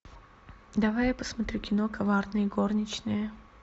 давай я посмотрю кино коварные горничные